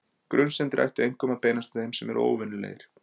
Grunsemdir ættu einkum að beinast að þeim sem eru óvenjulegir.